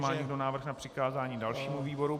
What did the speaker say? Má někdo návrh na přikázání dalšímu výboru?